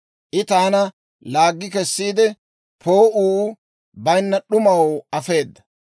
I taana laaggi kessiide, poo'uu bayinna d'umaw afeeda.